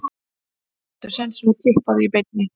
Taktu sénsinn og Tippaðu í beinni.